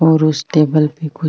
और उस टेबल पे कुछ --